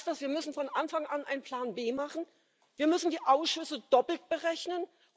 Heißt das, wir müssen von Anfang an einen Plan B machen, wir müssen die Ausschüsse doppelt berechnen?